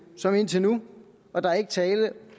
som indtil nu og der er ikke tale